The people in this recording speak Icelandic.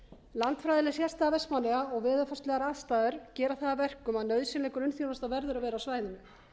landfræðileg sérstaða vestmannaeyja og veðurfarslegar aðstæður gera það að verkum að nauðsynleg grunnþjónusta verður að vera á svæðinu